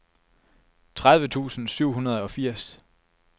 tredive tusind syv hundrede og firs